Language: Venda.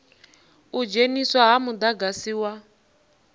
u dzheniswa ha mudagasi wa